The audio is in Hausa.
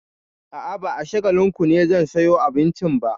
A'a, ba a Shagalinku ne zan sayo abincin ba.